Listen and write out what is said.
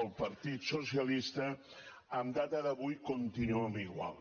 el partit socialista a data d’avui continuem igual